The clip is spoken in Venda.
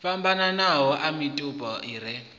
fhambananaho a mitupo i re